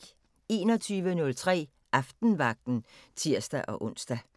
21:03: Aftenvagten (tir-ons)